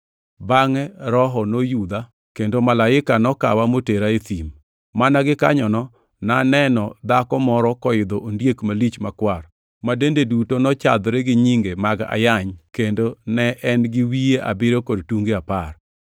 Bangʼe Roho noyudha kendo malaika nokawa motera e thim. Mana gikanyono naneno dhako moro koidho ondiek malich makwar, ma dende duto nochadhore gi nyinge mag ayany, kendo ne en gi wiye abiriyo kod tunge apar.